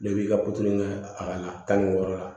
Ne b'i ka kɛ a ka tan ni wɔɔrɔ la